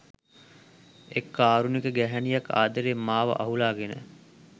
එක් කාරුණික ගැහැණියක් ආදරෙන් මාව අහුලාගෙන